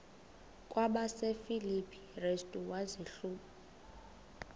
kwabasefilipi restu wazihluba